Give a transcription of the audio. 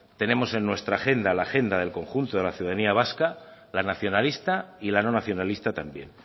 tenemos en nuestra agenda la agenda del conjunto de la ciudadanía vasca la nacionalista y la no nacionalista también